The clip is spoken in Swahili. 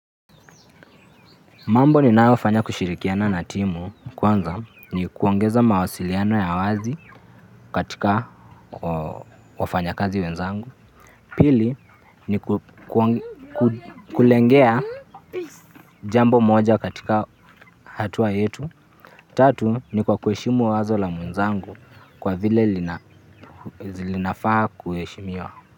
Mambo ninayofanya kushirikiana na timu, kwanza ni kuongeza mawasiliano ya wazi kwa wafanyakazi wenzangu. Pili ni kulengea jambo moja katika hatua yetu. Tatu ni kuheshimu wazo la mwenzangu kwa vile linafaa kuheshimiwa.